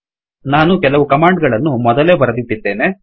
ನಾನು ಕೆಲವು ಕಮಾಂಡ್ ಗಳನ್ನು ಮೊದಲೇ ಬರೆದಿಟ್ಟಿದ್ದೇನೆ